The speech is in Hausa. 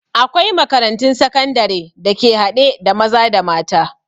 Akwai makarantun sakandare da ke haɗe da maza da mata